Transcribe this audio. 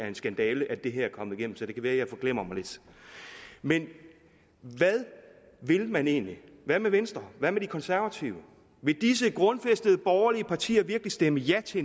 en skandale at det her er kommet igennem så det kan være at jeg forglemmer mig lidt men hvad vil man egentlig hvad med venstre hvad med de konservative vil disse grundfæstede borgerlige partier virkelig stemme ja til